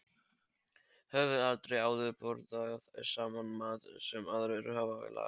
Höfum aldrei áður borðað saman mat sem aðrir hafa lagað.